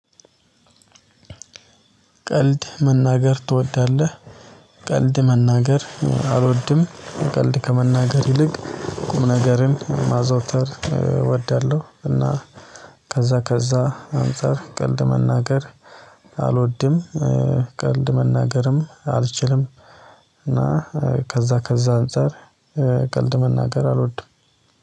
ቀልድ መናገር ትወዳለህ? ቀልድ መናገር አልወድም ቀልድ ከመናገር ይልቅ ቁም ነገርን ማዘውተር እወዳለሁ እና ከዛ ከዛ አንፃር ቀልድ መናገር አልወድም ቀልድ መናገርም አልችልም እና ከዛ ከዛ አንፃር ቀልድ መናገር አልወድም